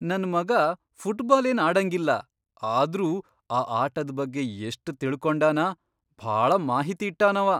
ನನ್ ಮಗಾ ಫುಟ್ಬಾಲ್ ಏನ್ ಆಡಂಗಿಲ್ಲ ಆದ್ರೂ ಆ ಆಟದ್ ಬಗ್ಗೆ ಎಷ್ಟ್ ತಿಳಕೊಂಡಾನ, ಭಾಳ ಮಾಹಿತಿ ಇಟ್ಟಾನವ.